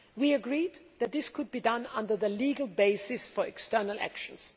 We agreed that this could be done under the legal basis for external actions.